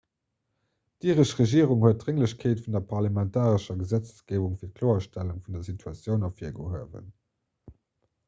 d'iresch regierung huet d'drénglechkeet vun der parlamentarescher gesetzgeebung fir d'kloerstellung vun der situatioun ervirgehuewen